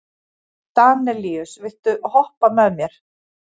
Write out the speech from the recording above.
Danelíus, viltu hoppa með mér?